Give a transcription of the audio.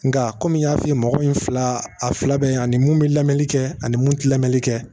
Nka kɔmi n y'a f'i ye mɔgɔ in fila a fila bɛ ani mun bɛ lamɛnni kɛ ani mun ti lamɛnni kɛ